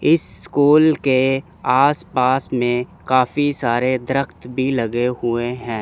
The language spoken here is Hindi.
इस स्कूल के आस पास में काफी सारे द्रख्त भी लगे हुए हैं।